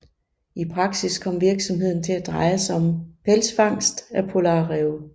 I praksis kom virksomheden til at dreje sig om pelsfangst af polarræve